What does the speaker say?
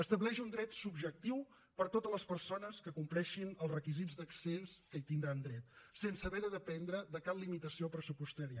estableix un dret subjectiu per a totes les persones que compleixin els requisits d’accés que hi tindran dret sense haver de dependre de cap limitació pressupostària